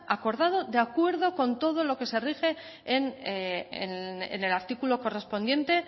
acordado de acuerdo con todo lo que se rige en el artículo correspondiente